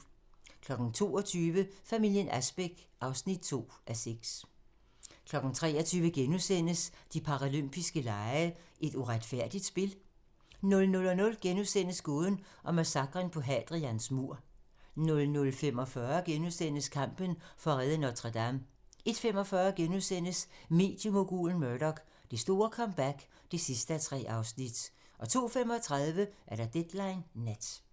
22:00: Familien Asbæk (2:6) 23:00: De paralympiske lege: Et uretfærdigt spil? * 00:00: Gåden om massakren på Hadrians mur * 00:45: Kampen for at redde Notre-Dame * 01:45: Mediemogulen Murdoch: Det store comeback (3:3)* 02:35: Deadline nat